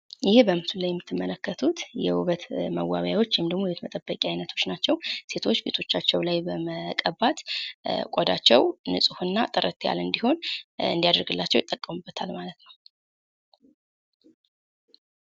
ይህ በምስሉ ላይ የምትመለከቱት የውበት መዋቢያወች ወይም የውበት መጠበቂያ አይነቶች ሲሆኑ፤ ሴቶች ፊታቸውን በመቀባት ቀዳቸው ንጹህና ጥርት ያለ እንዲሆን ይጠቀሙበታል።